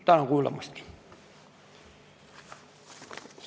Tänan kuulamast!